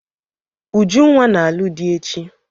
Ujunwa na-alụ di echi.